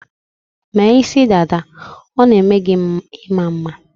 Mee isidada, ọ na-eme gi ị̇ma mma